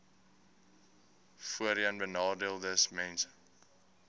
voorheenbenadeeldesmense